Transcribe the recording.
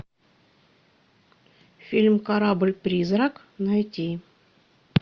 фильм корабль призрак найти